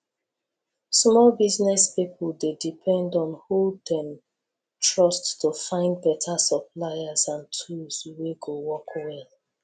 small business pipo dey depend on who dem trust to find beta suppliers and tools wey go work well